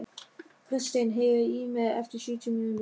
Kristin, heyrðu í mér eftir sjötíu mínútur.